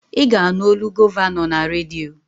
Ị ga-anụ olu gọvanọ na redio